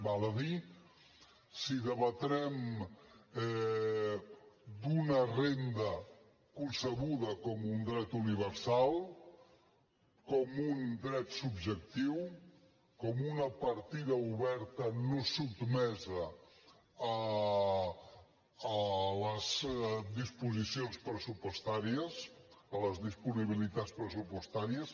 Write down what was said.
val a dir si debatrem una renda concebuda com un dret universal com un dret subjectiu com una partida oberta no sotmesa a les disposicions pressupostàries a les disponibilitats pressupostàries